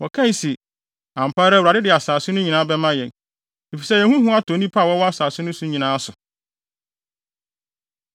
Wɔkae se, “Ampa ara Awurade de asase no nyinaa bɛma yɛn, efisɛ yɛn ho hu atɔ nnipa a wɔwɔ asase no so nyinaa so.”